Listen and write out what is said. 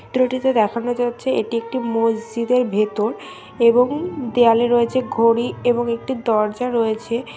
চিত্রটিতে দেখানো যাচ্ছে এটি একটি মসজিদের ভেতর এবং দেওয়ালে রয়েছে ঘড়ি এবং একটি দরজা রয়েছে --]